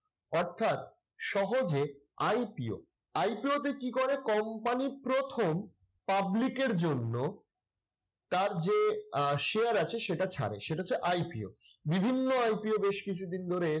অর্থাৎ সহজে IPOIPO তে কি করে, company প্রথম public এর জন্য তার যে আহ share আছে সেটা ছাড়ে। সেটা হচ্ছে IPO বিভিন্ন IPO বেশ কিছুদিন ধরে